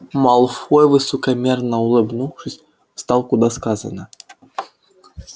малфой высокомерно улыбнувшись встал куда сказано